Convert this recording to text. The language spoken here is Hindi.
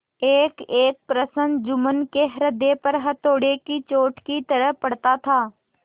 एकएक प्रश्न जुम्मन के हृदय पर हथौड़े की चोट की तरह पड़ता था